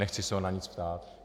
Nechci se ho na nic ptát.